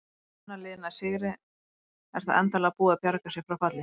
Ef annað liðið nær sigri er það endanlega búið að bjarga sér frá falli.